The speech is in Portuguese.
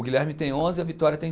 O Guilherme tem onze e a Vitória tem